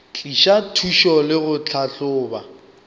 tliša thušo le go tlhahloba